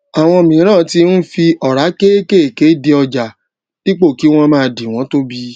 àwọn miran ti ń fi ora kéékèèké di ọjà dípò kí wọn máa di wọn tóbi